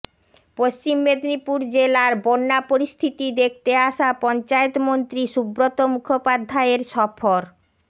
পশ্চিম মেদিনীপুর জেলার বন্যা পরিস্থিতি দেখতে আসা পঞ্চায়েত মন্ত্রী সুব্রত মুখোপাধ্যায়ের সফর